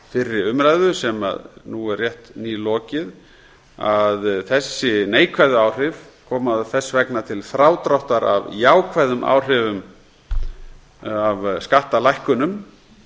fyrri umræðu sem nú er rétt nýlokið að þessi neikvæðu áhrif koma þess vegna til frádráttar af jákvæðum áhrifum af skattalækkunum